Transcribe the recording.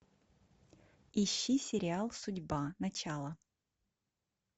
ищи сериал судьба начало